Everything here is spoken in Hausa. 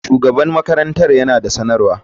Shugaban makarantar yana da sanarwa.